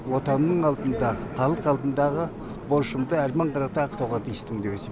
отанның алдында халық алдындағы борышымды әрмен қарата ақтауға тиістімін деп есептеймін